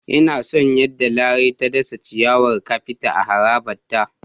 Ina son yadda Larai ta dasa ciyawar kafet a harabarta.